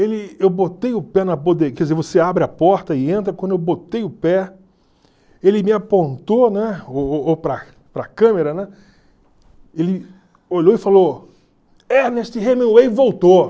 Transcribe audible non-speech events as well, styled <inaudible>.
Ele... eu botei o pé na <unintelligible> quer dizer, você abre a porta e entra, quando eu botei o pé, ele me apontou, né, <unintelligible> ou para para a câmera, né, ele olhou e falou, Ernest Hemingway voltou.